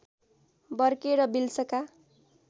Burke र विल्सका